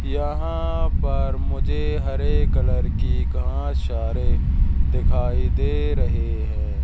यहां पर मुझे हरे कलर की घास चारे दिखाई दे रहे है।